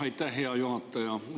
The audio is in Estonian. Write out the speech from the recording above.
Aitäh, hea juhataja!